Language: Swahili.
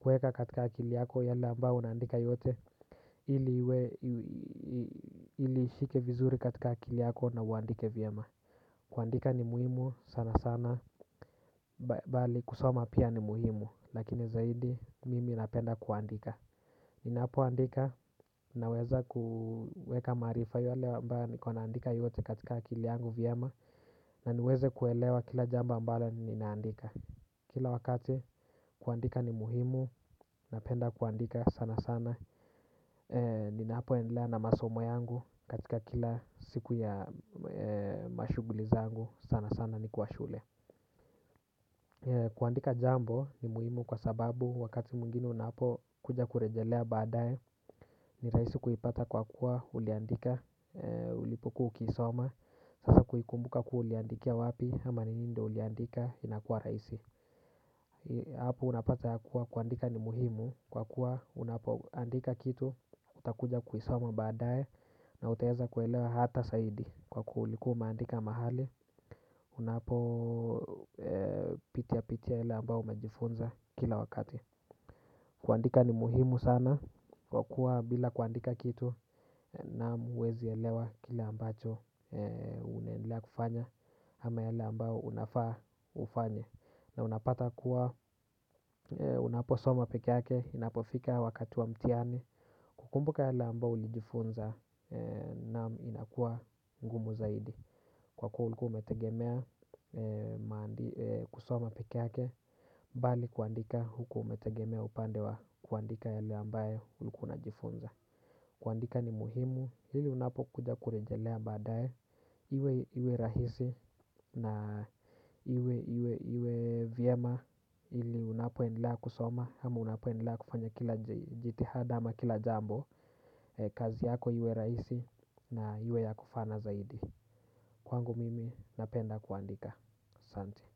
Kuweka katika akili yako yale ambao unaandika yote. Iliishike vizuri katika akili yako na uandike vyema. Kuandika ni muhimu sana sana. Bali kusoma pia ni muhimu. Lakini zaidi mimi napenda kuandika. Ninapoandika naweza kuweka maarifa yale ambayo niko naandika yote katika akili yangu vyema. Na niweze kuelewa kila jambo ambalo ninaandika. Kila wakati kuandika ni muhimu napenda kuandika sana sana. Ninapo endelea na masomo yangu katika kila siku ya mashughuli zangu sana sana ni kwa shule. Kuandika jambo ni muhimu kwa sababu wakati mwingine unapo kuja kurejelea baadaye. Ni rahisi kuipata kwa kuwa uliandika ulipokuwa ukiisoma. Sasa kuikumbuka kuwa uliandikia wapi ama ni nini ndiyo uliandika inakuwa rahisi. Hapo unapata ya kuwa kuandika ni muhimu kwa kuwa unapoandika kitu utakuja kuisoma baadae na utaweza kuelewa hata zaidi kwa kuwa ulikuwa umeandika mahali unapo pitia pitia yale ambao umajifunza kila wakati. Kuandika ni muhimu sana kwa kuwa bila kuandika kitu na huwezi elewa kile ambacho unaendelea kufanya ama yale ambao unafaa ufanye. Na unapata kuwa unaposoma pike yake inapofika wakati wa mtihani. Kukumbuka yale ambayo ulijifunza na inakuwa ngumu zaidi. Kwa kuwa ulikuwa umetegemea kusoma pike yake. Bali kuandika huku umetegemea upande wa kuandika yale ambayo ulikuwa unajifunza. Kuandika ni muhimu ili unapokuja kurejelea baadae. Iwe iwe rahisi na iwe iwe vyema ili unapoendelea kusoma ama unapoendelea kufanya kila jitihada ama kila jambo kazi yako iwe rahisi na iwe ya kufana zaidi. Kwangu mimi napenda kuandika asante.